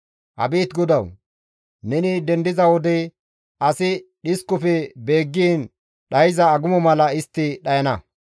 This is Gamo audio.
Abeet Godawu! Neni dendiza wode asi dhiskofe beeggiin dhayza agumo mala istti dhayana.